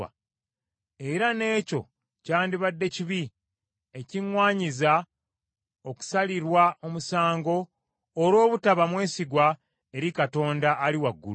era n’ekyo kyandibadde kibi ekiŋŋwanyiza okusalirwa omusango olw’obutaba mwesigwa eri Katonda ali waggulu.”